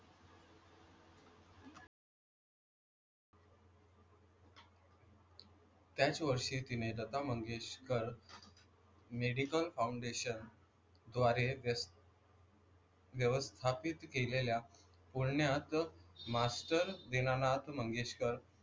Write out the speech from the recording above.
त्याच वर्षी तिने लता मंगेशकर मेडिकल फौंडेशन द्वारे व्यस व्यवस्थापित केलेल्या पुण्यात मास्टर दीनानाथ मंगेशकर,